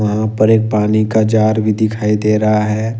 वहां पर एक पानी का जार भी दिखाई दे रहा है।